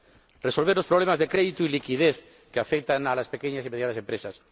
y resolver los problemas de crédito y liquidez que afectan a las pequeñas y medianas empresas.